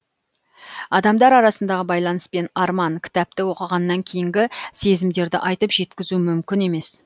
адамдар арасындағы байланыс пен арман кітапты оқығаннан кейінгі сезімдерді айтып жеткізу мүмкін емес